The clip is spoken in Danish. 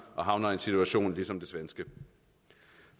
og havner i en situation ligesom det svenske